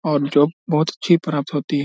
और जॉब बहुत अच्छी प्राप्त होती है।